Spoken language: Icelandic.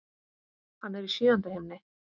Hann er í sjöunda himni.